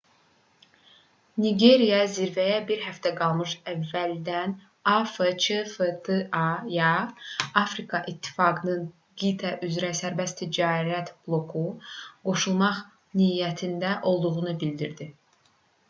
nigeriya zirvəyə bir həftə qalmış əvvəldən afcfta-ya afrika i̇ttifaqının qitə üzrə sərbəst ticarət bloku qoşulmaq niyyətində olduğunu bildirdi